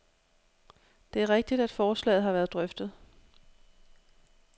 Det er rigtigt, at forslaget har været drøftet.